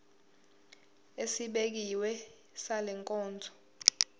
esibekiwe sale nkonzo